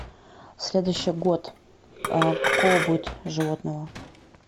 следующий год какого будет животного